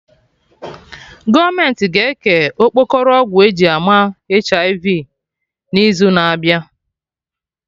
Gọọmenti ga eke okpokoro ọgwụ eji ama HIV n'izu na abịa